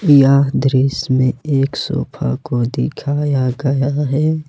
यह दृश्य में एक सोफा को दिखाया गया है।